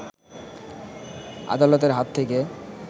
আদালতের হাত থেকে